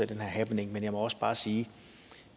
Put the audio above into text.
den her happening men jeg må også bare sige at